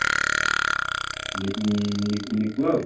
ମିକୁ